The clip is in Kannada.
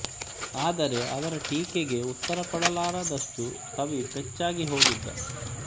ಆದರೆ ಅವರ ಟೀಕೆಗೆ ಉತ್ತರ ಕೊಡಲಾರದಷ್ಟು ಕವಿ ಪೆಚ್ಚಾಗಿ ಹೋಗಿದ್ದ